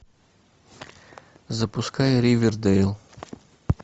запускай ривердейл